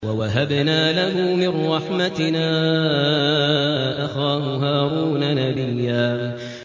وَوَهَبْنَا لَهُ مِن رَّحْمَتِنَا أَخَاهُ هَارُونَ نَبِيًّا